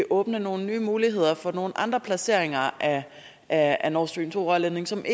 åbne nogle nye muligheder for nogle andre placeringer af af nord stream to rørledningen som